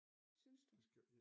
Synes du